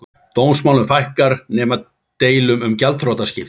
Dómsmálum fækkar nema deilum um gjaldþrotaskipti